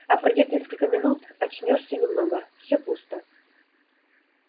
а пройдёт несколько минут очнёшься немного всё пусто